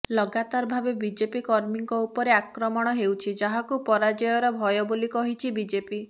ଲଗାତାର ଭାବେ ବିଜେପି କର୍ମୀଙ୍କ ଉପରେ ଆକ୍ରମଣ ହେଉଛି ଯାହାକୁ ପରାଜୟର ଭୟ ବୋଲି କହିଛି ବିଜେପି